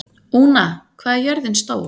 Úna, hvað er jörðin stór?